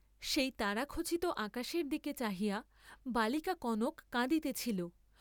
সেই তারাখচিত আকাশের দিকে চাহিয়া বালিকা কনক কাঁদিতেছিল।